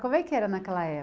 Como é que era naquela época?